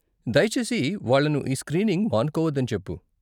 దయచేసి వాళ్ళను ఈ స్క్రీనింగ్ మానుకోవద్దని చెప్పు.